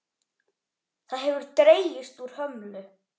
Það hefur dregist úr hömlu.